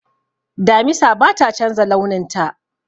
Damisa bata chanza launin ta